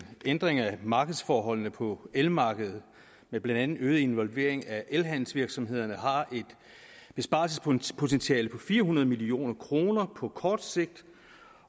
ændring af markedsforholdene på elmarkedet med blandt andet øget involvering af elhandelsvirksomhederne har et besparelsespotentiale på fire hundrede million kroner på kort sigt